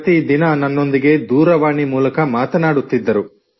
ಪ್ರತಿದಿನ ನನ್ನೊಂದಿಗೆ ದೂರವಾಣಿ ಮೂಲಕ ಮಾತನಾಡುತ್ತಿದ್ದರು